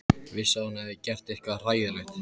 Vissi að hún hafði gert eitthvað hræðilegt.